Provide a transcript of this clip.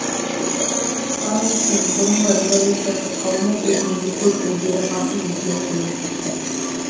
павловтың бұрынғы револицияшыл қауымы бұл күнде көп ілгері басып өзгеріп өрлеп кеткен